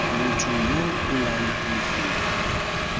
motho yo o laolang lefelo